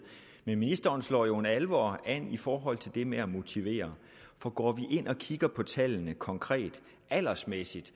men ministeren slår jo en alvor an i forhold til det med at motivere for går vi ind og kigger på tallene konkret aldersmæssigt